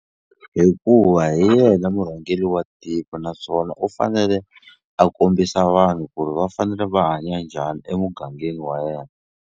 Hikuva hi yena murhangeri wa tiko naswona u fanele a kombisa vanhu ku ri va fanele va hanya njhani emugangeni wa yena.